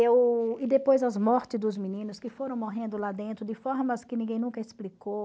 Eu... E depois as mortes dos meninos que foram morrendo lá dentro, de formas que ninguém nunca explicou.